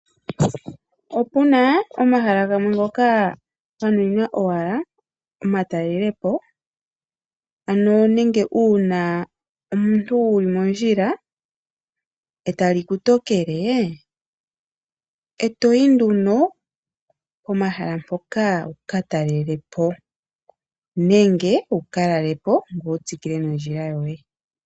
Opuna omahala gamwe ngoka ganuninwa owala omatalelepo nenge uuna omuntu wuli mondjila etali kutokele etoyi nduno pomahala ngono wukatalelepo nenge wukalale opo wutsikile nondjila yoye.